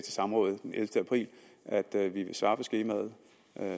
samrådet den ellevte april altså at vi vil svare på skemaet